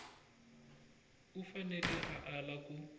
u fanele a ala ku